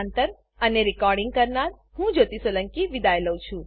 IIT Bombay તરફથી હું જ્યોતી સોલંકી વિદાય લઉં છું